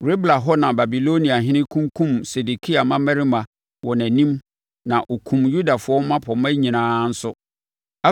Ribla hɔ na Babiloniahene kunkumm Sedekia mmammarima wɔ nʼanim na ɔkumm Yudafoɔ mmapɔmma nyinaa nso.